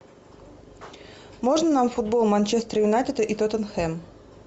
можно нам футбол манчестер юнайтед и тоттенхэм